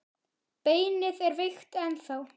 Beinið er veikt ennþá.